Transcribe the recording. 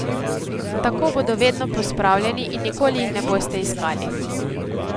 Tako bodo vedno pospravljeni in nikoli jih ne boste iskali.